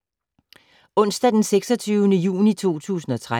Onsdag d. 26. juni 2013